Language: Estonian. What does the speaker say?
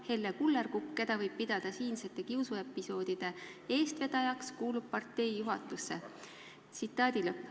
Helle Kullerkupp, keda võib pidada siinsete kiusuepisoodide eestvedajaks, kuulub partei juhatusse.